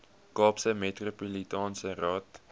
kaapse metropolitaanse raad